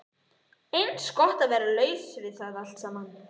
Eins gott að vera laus við það allt saman.